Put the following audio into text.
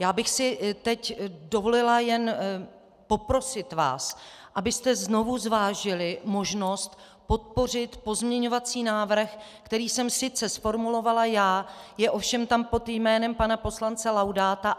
Já bych si teď dovolila jen poprosit vás, abyste znovu zvážili možnost podpořit pozměňovací návrh, který jsem sice zformulovala já, je tam ovšem pod jménem pana poslance Laudáta.